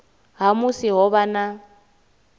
ha musi ho vha na